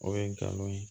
O ye ngalon ye